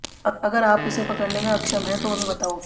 अगर आप उसे पकड़ने में अक्षम हैं तो हमें बताओ